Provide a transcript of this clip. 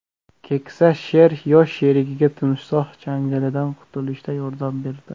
Keksa sher yosh sherigiga timsoh changalidan qutulishda yordam berdi .